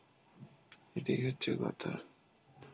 এটাই হচ্ছে কথা.